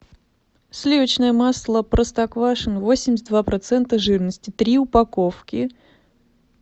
сливочное масло простоквашино восемьдесят два процента жирности три упаковки